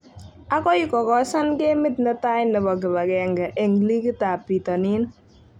Akoi ko kosan gemit netai nebo kibagenge eng ligit ab bitonin